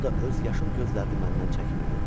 O da öz yaşıl gözlərini məndən çəkmirdi.